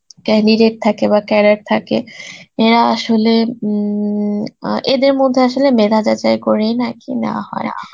candidate থাকে বা cadet থাকে এরা আসলে উম অ্যাঁ এদের মধ্যে আসলে মেধা যাচাই করেই নাকি নেওয়া হয়